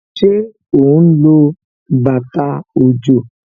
Ṣé ó ń lo bàtà òjò?